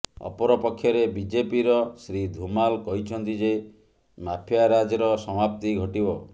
ଅପରପକ୍ଷରେ ବିଜେପିର ଶ୍ରୀ ଧୁମାଲ କହିଛନ୍ତି ଯେ ମାଫିଆରାଜ୍ର ସମାପ୍ତି ଘଟିବ